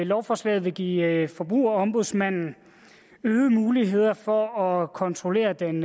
lovforslaget vil give forbrugerombudsmanden øgede muligheder for at kontrollere den